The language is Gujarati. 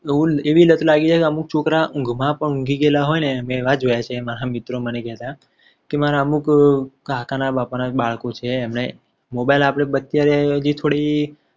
અમુક એવી લત લાગી જાય છે. અમુક છોકરા ઊંઘમાં પણ ઊંઘી ગયેલા હોય ને મેં એવા જોયા છે. એ મારા મિત્રો મને કહેતા કે મારા અમુક કાકાના બાપા ના બાળકો છે. એમને mobile આપણે બચ્ચા હજી થોડી